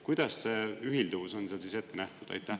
Kuidas see ühilduvus on seal siis ette nähtud?